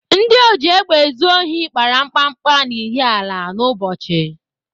Ndị ojiégbèézùohi kpara mkpakpa n'Ihiala n'Ụbọchị.